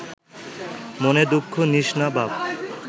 মনে দুঃখ নিস না, বাপ